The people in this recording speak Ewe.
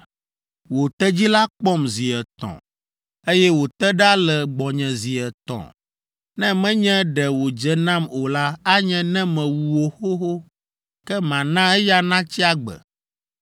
Wò tedzi la kpɔm zi etɔ̃, eye wòte ɖa le gbɔnye zi etɔ̃. Ne menye ɖe wòdze nam o la, anye ne mewu wò xoxo, ke mana eya natsi agbe.”